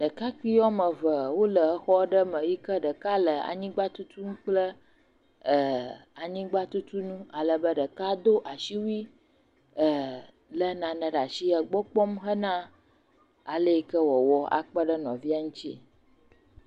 Ɖekakpuiwo ame wole xɔ aɖe me yike ɖeka le tutum kple anyigba tutunu alebe ɖeka do asiwui le nane ɖe asi egbɔ kpɔm hena ale yike woawɔ akpeɖe nɔvia ŋti